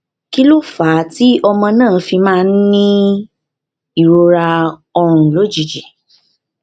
um kí ló fà á tí ọmọ náà fi máa ń um ní ìrora orun lójijì um